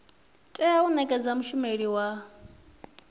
tea u nekedzwa mushumeli wa